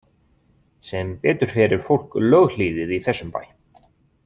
Sem betur fer er fólk löghlýðið í þessum bæ.